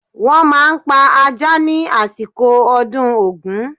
Wọ́n máa pa ajá ni àsìkò ọdún Ògún.